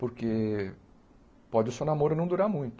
Porque pode o seu namoro não durar muito.